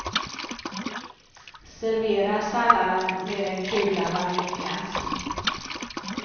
Servera salladen med en kula vaniljglass.